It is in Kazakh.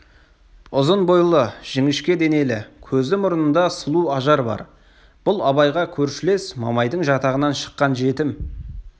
ұзын бойлы жіңішке денелі көзі мұрныңда сұлу ажар бар бұл абайға көршілес мамайдың жатағынан шыққан жетім